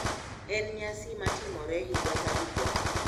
En nyasi matimore higa ka higa.